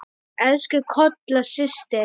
Elsku Kolla systir.